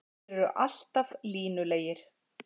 Þeir eru alltaf línulegir.